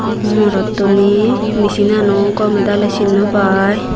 mm morottuney michin nano gomedaley sin nopai.